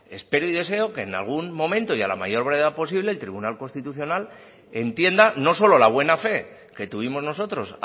espero y deseo que en algún momento y a la mayor brevedad posible el tribunal constitucional entienda no solo la buena fe que tuvimos nosotros